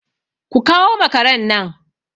Ku kawo makaran nan!